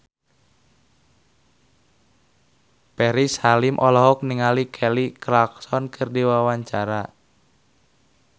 Ferry Salim olohok ningali Kelly Clarkson keur diwawancara